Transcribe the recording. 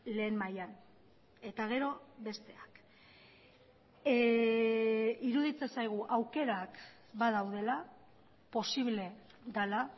lehen mailan eta gero besteak iruditzen zaigu aukerak badaudela posible dela